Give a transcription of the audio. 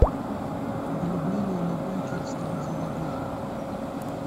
ограбление на бейкер стрит заводи